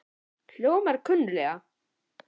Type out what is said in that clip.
Hljómar kunnuglega?